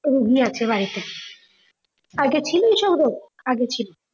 রুগি আছে বা আগে ছিল এসব রোগ, আগে ছিলোনা।